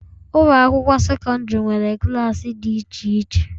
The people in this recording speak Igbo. Ụlọ akwụkwọ sekọndrị nwere klaasị dị iche iche.